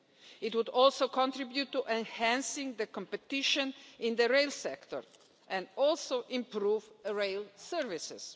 It would also contribute to enhancing competition in the rail sector and also improve rail services.